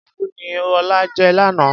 fùfú ni ọlá jẹ lánàá.